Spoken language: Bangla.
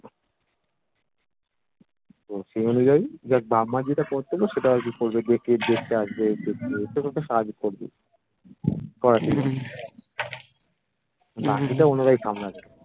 সেই অনুযায়ী যাক বাপ মার যেটা কর্তব্য সেটা হয়তো করবে, দেখতে আসবে, একটু একটু সাহায্য করবেই বাকিটা ওনারাই সামলাবে